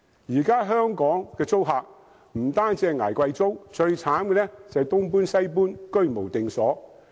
現時香港的租客不單要捱貴租，最慘的是要"東搬西搬"、居無定所。